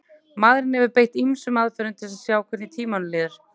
maðurinn hefur beitt ýmsum aðferðum til að sjá hvernig tímanum líður